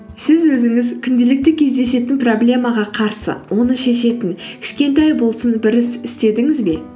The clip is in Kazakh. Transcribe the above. сіз өзіңіз күнделікті кездесетін проблемаға қарсы оны шешетін кішкентай болсын бір іс істедіңіз бе